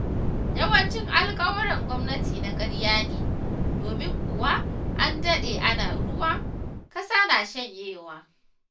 Yawancin alƙawuran gwamnati na ƙarya ne, domin kuwa an daɗe ana ruwa, ƙasa na shanyewa.